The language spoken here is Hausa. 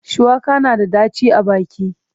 Shuwaka na da ɗaci a baki.